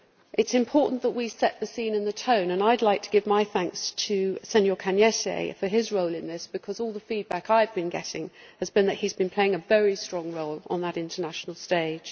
It is important that we set the scene and the tone, and I would like to give my thanks to Mr Arias Cañete for his role in this, because all the feedback I have been getting has been that he has been playing a very strong role on that international stage.